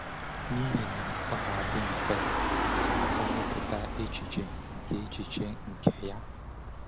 N’ihi na ọ ga-adị mfe ka o mepụta echiche nke echiche nke ya.